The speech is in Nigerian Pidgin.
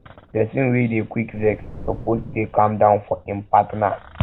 pesin wey dey quick vex suppose dey calm down for im partner